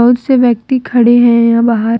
कुछ से व्यक्ति खड़े हैं या बाहर।